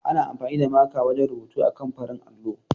Ana amfani da maka wajen rubutu akan farin allo.